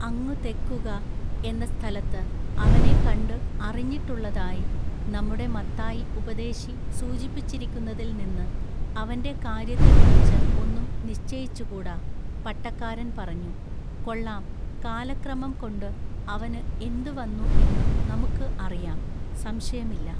അങ്ങുതെക്കുക--എന്ന സ്ഥലത്തു അവനെ കണ്ടു അറിഞ്ഞിട്ടുള്ളതായി നമ്മുടെ മത്തായി ഉപദേശി സൂചിപ്പിച്ചിരിക്കുന്നതിൽനിന്നു അവന്റെ കാൎയ്യത്തക്കുറിച്ച് ഒന്നും നിശ്ചയിച്ചുകൂടാ പട്ടക്കാരൻ പറഞ്ഞു: "കൊള്ളാം കാലക്രമം കൊണ്ടു അവനു എന്തുവന്നു എന്നു നമുക്കു അറിയാം സംശയമില്ല.